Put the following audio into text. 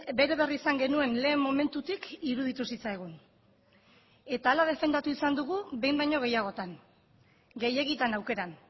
bere berri izan genuen lehen momentutik iruditu zitzaigun eta hala defendatu izan dugu behin baino gehiagotan gehiegitan aukeran